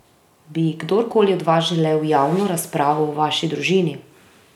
Bi kdorkoli od vas želel javno razpravo o vaši družini?